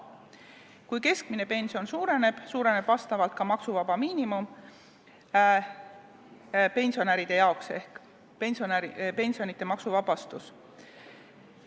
Kui keskmine pension suureneb, suureneb ka maksuvaba miinimum pensionäride jaoks ehk pensionite maksuvabastus.